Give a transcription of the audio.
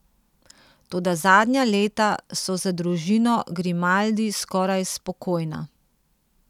Toda zadnja leta so za družino Grimaldi skoraj spokojna.